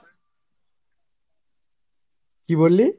কি বললি?